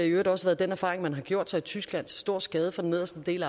i øvrigt også været den erfaring man har gjort sig i tyskland til stor skade for den nederste del